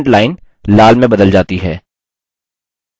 student line लाल में बदल जाती है